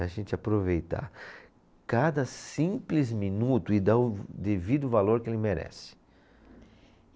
A gente aproveitar cada simples minuto e dar o devido valor que ele merece.